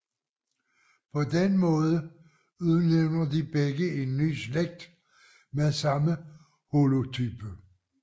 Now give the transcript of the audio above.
På den måde udnævner de begge en ny slægt med samme holotype